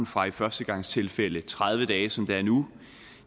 fra i førstegangstilfælde tredive dage som det er nu